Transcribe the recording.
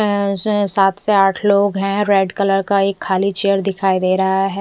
अह से सात से आठ लोग हैं रेड कलर का एक खाली चेयर दिखाई दे रहा है।